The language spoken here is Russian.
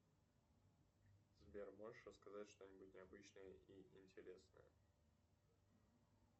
сбер можешь рассказать что нибудь необычное и интересное